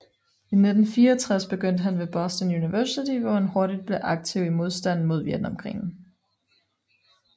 I 1964 begyndte han ved Boston University hvor han hurtigt blev aktiv i modstanden mod Vietnamkrigen